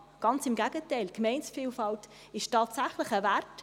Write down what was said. Ganz im Gegenteil: Die Gemeindevielfalt ist tatsächlich ein Wert.